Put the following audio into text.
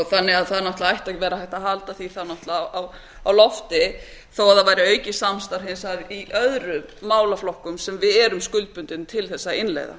þannig að það ætti að vera hægt að halda því á lofti þó það væri aukið samstarf í öðrum málaflokkum sem við erum skuldbundin til að innleiða